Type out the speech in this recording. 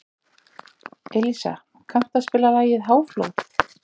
Elísa, kanntu að spila lagið „Háflóð“?